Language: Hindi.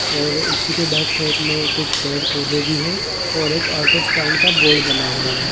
और उसी के बैक साइड में कुछ पेड़ पौधे भी है और एक ऑटो स्टैंड का बोर्ड बना हुआ है।